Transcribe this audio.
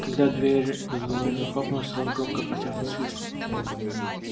когда дверь за ней захлопнулась рон громко протяжно свистнул